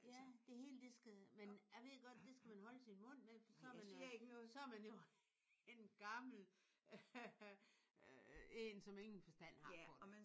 Ja. Det hele det skal men jeg ved godt at det skal man holde sin mund med for så er man jo en gammel øh en som ingen forstand har på det